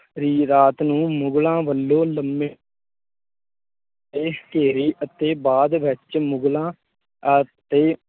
ਰਾਤ ਨੂੰ ਮੁਗਲਾਂ ਵੱਲੋਂ ਲੰਮੇ ਦੇ ਘੇਰੇ ਅਤੇ ਬਾਅਦ ਵਿੱਚ ਮੁਗਲਾਂ ਤੇ